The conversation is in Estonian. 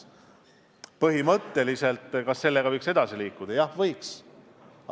Põhimõtteliselt, kas sellega võiks edasi liikuda?